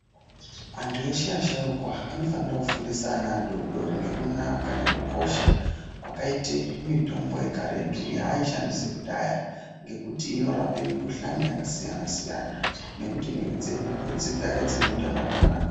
Antu eshe asharukwa anofanira kufundisa ana adodori ngekunaka nekukosha kwakaite mitombo yekaretu yaaishandise kudhaya ngekuti inorape mikuhlane yakasiyana siyana nekuti mwiri dzedu futi dzigare dzineutano hwakanaka.